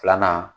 Filanan